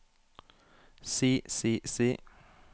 si si si